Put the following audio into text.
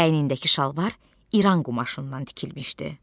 Əynindəki şalvar İran qumaşından tikilmişdi.